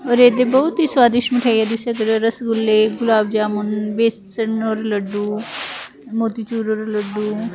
ਔਰ ਇਧਰ ਬਹੁਤ ਹੀ ਸਵਾਦਿਸ਼ਟ ਮਿਠਾਈਆਂ ਦਿਸ ਰਹੀ ਜੈਸੇ ਰਸਗੁੱਲੇ ਗੁਲਾਬ ਜਾਮੁਨ ਬੇਸਨ ਔਰ ਲੱਡੂ ਮੋਤੀਚੂਰ ਲੱਡੂ --